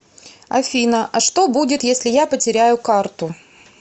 афина а что будет если я потеряю карту